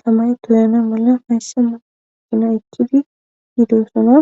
tamay toyana mala hayssa ma qina ekkidi hiidoossona